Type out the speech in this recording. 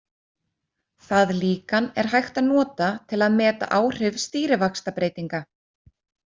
Það líkan er hægt að nota til að meta áhrif stýrivaxtabreytinga.